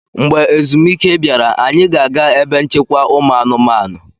Mgbe ezumike bịara, anyị ga-aga ebe nchekwa ụmụanụmanụ.